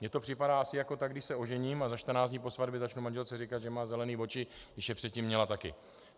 Mně to připadá asi tak, jako když se ožením a za 14 dní po svatbě začnu manželce říkat, že má zelené oči, když je předtím měla taky.